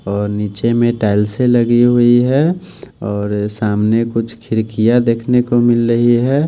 और नीचे में टाइलसे लगी हुई है और सामने कुछ खिड़कियां देखने को मिल रही है।